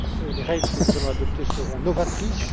Les règles que nous allons adopter seront novatrices.